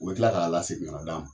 U be kila k'a lasegin kan'a d'a ma